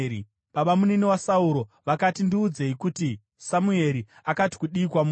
Babamunini vaSauro vakati, “Ndiudzei kuti Samueri akati kudii kwamuri.”